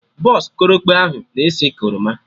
Bọsụ korokpe ahụ na esi ka oroma